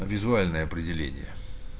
а визуальное определение